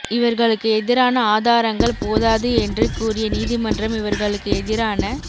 இவர்களுக்கு எதிரான ஆதாரங்கள் போதாது என்று கூறிய நீதிமன்றம் இவர்களுக்கு எதிரான